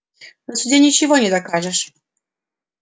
на суде ничего не докажешь